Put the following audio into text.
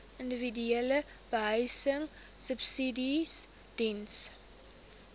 individuele behuisingsubsidies diens